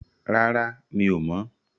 Rárá, mi ò mọ̀.